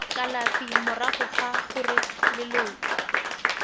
kalafi morago ga gore leloko